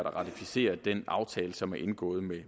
at ratificere den aftale som er indgået med